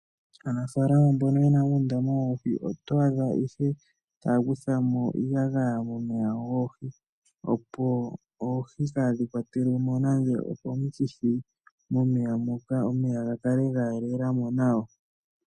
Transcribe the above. Aanafalama mbono ye na uundama woohi oto adha ihe taya kutha mo iiyagaya momeya goohi, opo oohi kaadhi kwatelwe mo nando okomikithi momeya moka, omeya ga kale ga yelelela mo nawa.